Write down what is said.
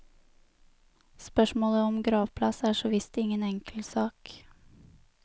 Spørsmålet om gravplass er såvisst ingen enkel sak.